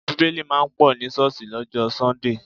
Bíbélì máa ń pọ̀ ní ṣọ́ọ̀sì lọ́jọ́ sọ́ńdè